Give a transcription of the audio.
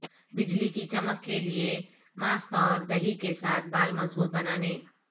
بجلی کی چمک کے لئے ماسک اور دہی کے ساتھ بال مضبوط بنانے